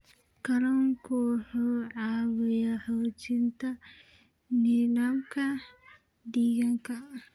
Kalluunku wuxuu caawiyaa xoojinta nidaamka deegaanka.